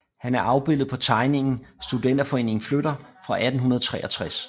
Han er afbildet på tegningen Studenterforeningen flytter fra 1863